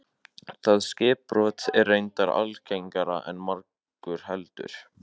Það skipbrot er reyndar algengara en margur heldur.